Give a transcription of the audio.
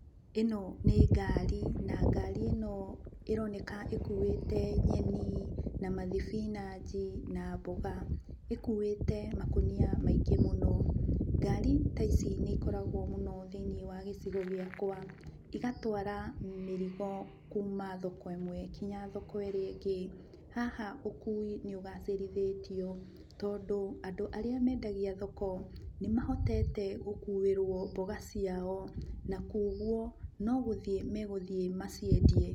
Ĩno nĩ ngari na ngari ĩno ĩroneka ĩkuĩte nyeni na mathibinanji na mboga. Ĩkuĩte makũnia maingĩ mũno. Ngari ta ici nĩikoragwo mũno thĩiniĩ wa gĩcigo gĩakwa, ĩgatwara mĩrigo kuuma thoko ĩmwe nginya thoko ĩrĩa ĩngĩ. Haha ũkui nĩ ũgacĩrithĩtio, tondũ andũ arĩa mendagia thoko nĩmahotete gũkuĩrwo mboga ciao na kuũguo nogũthiĩ megũthiĩ maciendie.